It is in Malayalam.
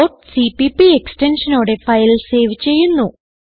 ഡോട്ട് സിപിപി എക്സ്റ്റൻഷനോടെ ഫയൽ സേവ് ചെയ്യുന്നു